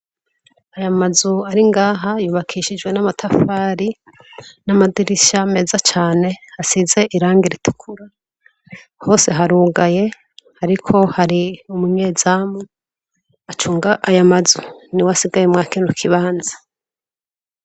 Aya mazu aringaha yubakishijwe n'amatafari n'amadirishya meza cane hasize iranga ritukura hose harugaye ariko hari umunyezamu acunga aya mazu ni we asigaye mwakinu kibanza.